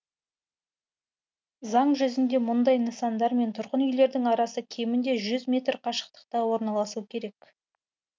заң жүзінде мұндай нысандар мен тұрғын үйлердің арасы кемінде жүз метр қашықтықта орналасу керек